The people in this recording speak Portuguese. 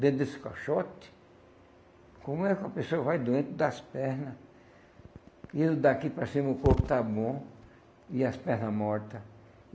Dentro desse caixote, como é que a pessoa vai doente das pernas, e daqui para cima o corpo está bom, e as pernas mortas.